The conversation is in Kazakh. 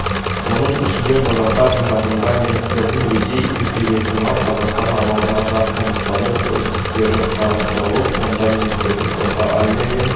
оның ішінде құжаттар жинағында немістердің ресей империясынан қазақстан аумағына да қоныстану үрдістері қарастырылып онда немістердің орта азия мен